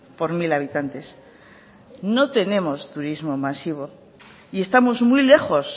por mil habitantes no tenemos turismo masivo y estamos muy lejos